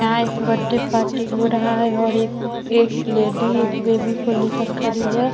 यहाँ एक birthday party हो रहा है और एक एक लेडी एक बेबी को लेकर खड़ी है।